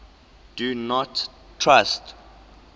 do not trust